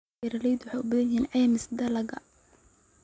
Beeraleydu waxay u baahan yihiin caymis dalagga.